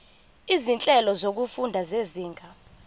izinhlelo zokufunda zezinga